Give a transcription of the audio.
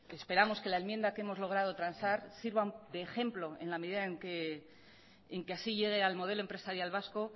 esperamos que la enmienda que hemos logrado transar sirva de ejemplo en la medida en que así llegue al modelo empresarial vasco